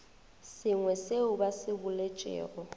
sengwe seo ba se boletšego